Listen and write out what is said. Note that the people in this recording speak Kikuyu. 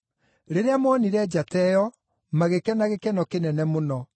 Rĩrĩa moonire njata ĩyo, magĩkena gĩkeno kĩnene mũno.